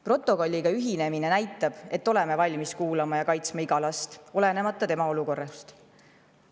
Protokolliga ühinemine näitab, et oleme valmis kuulama ja kaitsma iga last, olenemata tema olukorrast.